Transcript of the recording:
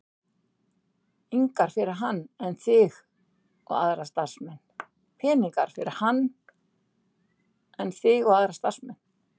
ingar fyrir hann en þig og aðra starfsmenn.